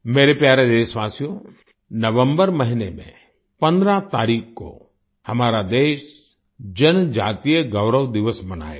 मेरे प्यारे देशवासियो नवम्बर महीने में 15 तारीख को हमारा देश जनजातीय गौरव दिवस मनाएगा